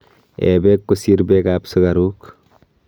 ee peek kosir peek ap sugaruk